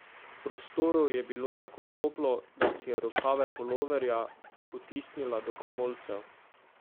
V prostoru je bilo tako toplo, da si je rokave puloverja potisnila do komolcev.